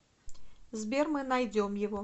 сбер мы найдем его